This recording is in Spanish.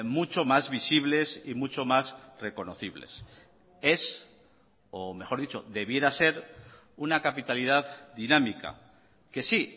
mucho más visibles y mucho más reconocibles es o mejor dicho debiera ser una capitalidad dinámica que sí